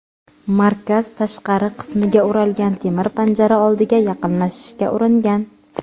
markaz tashqari qismiga o‘ralgan temir panjara oldiga yaqinlashishga uringan.